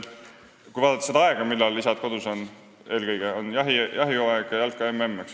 Kui vaadata seda aega, millal isad kodus on, siis eelkõige jahihooajal ja jalka-MM-il.